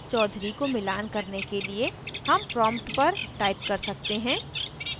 chaudhury को मिलान करने के लिए हम prompt पर type कर सकते हैं